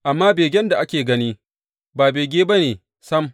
Amma begen da ake gani ba bege ba ne sam.